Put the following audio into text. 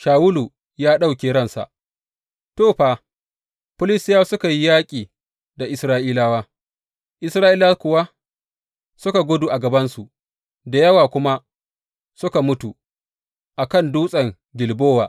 Shawulu ya ɗauke ransa To, fa, Filistiyawa suka yi yaƙi da Isra’ilawa; Isra’ilawa kuwa suka gudu a gabansu, da yawa kuma suka mutu a kan Dutsen Gilbowa.